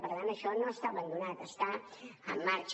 per tant això no està abandonat està en marxa